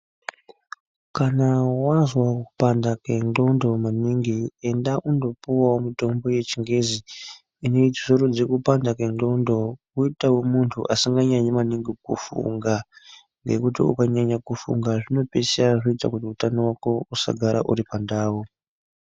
Kana wazwa kupanda kwendxondo maningi enda undopuwawo mutombo yechingezi inozorodze kupanda kwendxondo woitawo muntu asinganyanyi maningi kufunga ngekuti ukanyanya kufunga zvinopeisira zvoita kuti utano hwako husagara huri pandau.